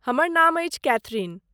हमर नाम अछि कैथरिन।